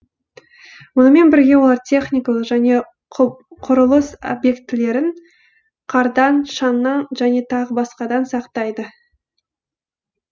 мұнымен бірге олар техникалық және құрылыс объектілерін қардан шаңнан және тағы басқадан сақтайды